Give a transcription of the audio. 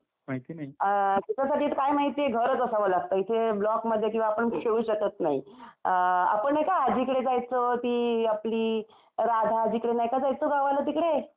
अम त्याच्यासाठी काय आहे माहितीये घरच असावं लागतं. इथे ब्लॉक मध्ये किंवा आपण खेळू शकत नाही. अम आपण नाही का आजीकडे जायचो ती आपली राधा आजीकडे नाही का जायचो गावाला तिकडे? आठवतंय का?